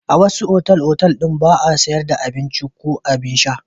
A wasu otal-otal ɗin ba a sayar da abinci ko abin sha.